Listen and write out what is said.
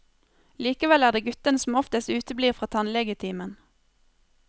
Likevel er det guttene som oftest uteblir fra tannlegetimen.